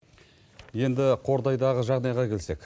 енді қордайдағы жағдайға келсек